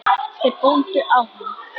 Þeir góndu á hann.